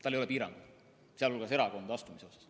Tal ei ole piiranguid, ka erakonda astumisel mitte.